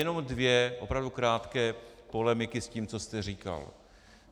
Jenom dvě opravdu krátké polemiky s tím, co jste říkal.